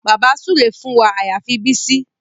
Bàbá súre fún wa àyàfi Bísí